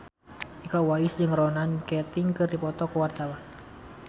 Iko Uwais jeung Ronan Keating keur dipoto ku wartawan